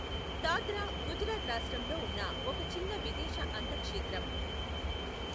దాద్రా గుజరాత్ రాష్ట్రంలో ఉన్న ఒక చిన్న విదేశ అంతక్షేత్రం.